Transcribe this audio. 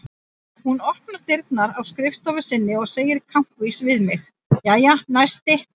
Hún opnar dyrnar á skrifstofu sinni og segir kankvís við mig: Jæja, næsti